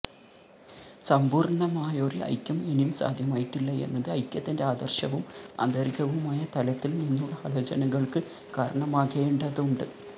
സമ്പൂര്ണമായൊരു ഐക്യം ഇനിയും സാധ്യമായിട്ടില്ല എന്നത് ഐക്യത്തിന്റെ ആദര്ശവും ആന്തരികവുമായ തലത്തില് നിന്നുള്ള ആലോചനകള്ക്ക് കാരണമാകേണ്ടതുണ്ട്